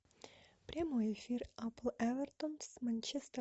прямой эфир апл эвертон с манчестер